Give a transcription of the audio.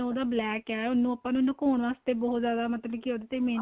ਉਹਦਾ black ਏ ਉਹਨੂੰ ਆਪਾਂ ਲਕੋਨ ਵਾਸਤੇ ਬਹੁਤ ਜਿਆਦਾ ਮਤਲਬ ਕੀ ਉਹਦੇ ਤੇ ਮਿਹਨਤ